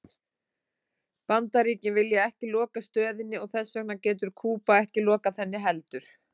Bandaríkin vilja ekki loka stöðinni og þess vegna getur Kúba ekki lokað henni heldur.